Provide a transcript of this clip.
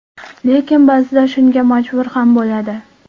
Lekin, ba’zida shunga majbur ham bo‘ladi.